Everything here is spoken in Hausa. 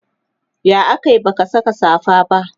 ya akayi baka Saka safa ba?